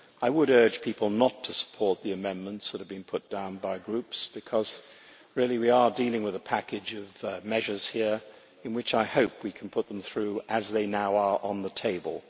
I would urge people not to support the amendments that have been put down by Groups, because we are dealing with a package of measures here which I hope we can put through as they now are on the table.